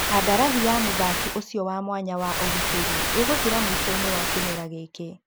Kandarathi ya mũthaki ũcio wa mwanya wa ũgitĩri ĩgũthira mũicoinĩ wa kĩmera gĩkĩ.